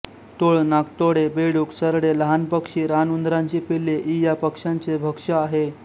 टोळ नाकतोडे बेडूक सरडे लहान पक्षी रानउंदरांची पिल्ले इ या पक्ष्याचे भक्ष्य आहे